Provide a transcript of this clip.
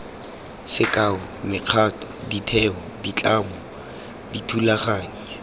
sekao mekgatlho ditheo ditlamo dithulaganyo